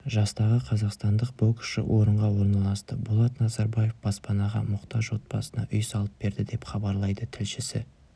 жастағы қазақстандық боксшы орынға орналасты болат назарбаев баспанаға мұқтаж отбасына үй салып берді деп хабарлайды тілшісі